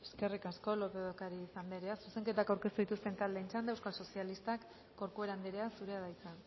eskerrik asko lópez de ocariz andrea zuzenketak aurkeztu dituzten txanda euskal sozialistak corcuera andrea zurea da hitza